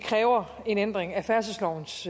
kræver en ændring af færdselslovens